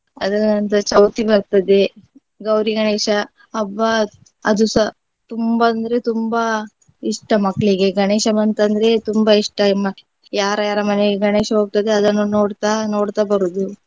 ಅದರ ನಂತರ ಚೌತಿ ಬರ್ತದೆ ಗೌರಿ ಗಣೇಶ ಹಬ್ಬ ಅದುಸ ತುಂಬಾ ಅಂದ್ರೆ ತುಂಬಾ ಇಷ್ಟ ಮಕ್ಳಿಗೆ. ಗಣೇಶ ಬಂತಂದ್ರೆ ತುಂಬಾ ಇಷ್ಟ ಮಕ್~ ಯಾರ ಯಾರ ಮನೆಗೆ ಗಣೇಶ ಹೋಗ್ತದೆ ಅದನ್ನು ನೋಡ್ತಾ ನೋಡ್ತಾ ಬರುವುದು.